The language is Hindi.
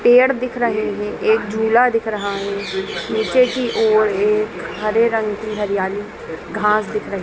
पेड़ दिख रहे हैं एक झूला दिख रहा है नीचे की ओर एक हरे रंग की हरियाली घास दिख रही--